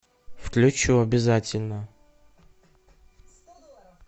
включу обязательно